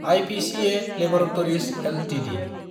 IPCA laboratories Ltd